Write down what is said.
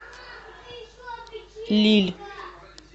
лилль